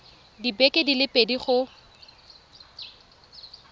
dibeke di le pedi go